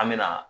An me na